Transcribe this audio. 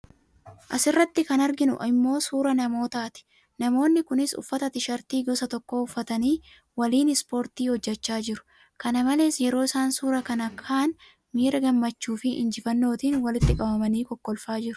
As irratti kan arginu immoo suuraa namootaa ti. Namoonni kunis uffata tiishartii gosa tokko uffatanii waliin ispoortii hojjechaa jiru. Kanamalees, yeroo isaan suuraa kana ka'an miira gammachuu fi injifannoo tiin walitti qabamanii kokolfaa jiru.